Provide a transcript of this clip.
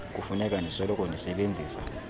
kufuneka ndisoloko ndisebenzisa